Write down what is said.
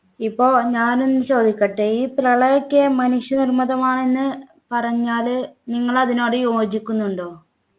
ഇപ്പോൾ ഞാൻ ഒന്ന് ചോദിക്കട്ടെ ഈ പ്രളയക്കെ മനുഷ്യനിർമ്മിതമാണെന്ന് പറഞ്ഞാൽ നിങ്ങൾ അതിനോട് യോജിക്കുന്നുണ്ടോ